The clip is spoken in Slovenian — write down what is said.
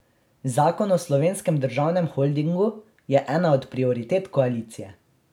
Zakon o Slovenskem državnem holdingu je ena od prioritet koalicije.